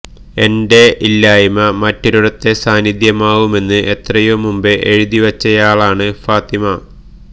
എന്റെ ഇല്ലായ്മ മറ്റൊരിടത്തെ സാന്നിധ്യമാവുന്നുവെന്ന് എത്രയോ മുമ്പേ എഴുതി വെച്ചവളാണ് ഫാത്തിമ